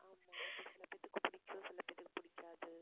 ஆமா சிலபேருக்கு இது பிடிக்கும் சிலபேருக்கு இது பிடிக்காது.